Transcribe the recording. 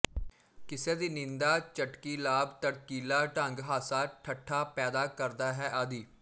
ਕਿਸੇ ਦੀ ਨਿੰਦਾ ਚਟਕੀਲਾਭੜਕੀਲਾ ਢੰਗ ਹਾਸਾ ਠੱਠਾ ਪੈਦਾ ਕਰਦਾ ਹੈ ਆਦਿ